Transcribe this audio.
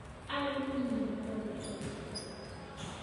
Arĩmi nĩ magomete gũtua macani